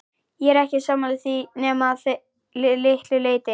Ég er ekki sammála því nema að litlu leyti.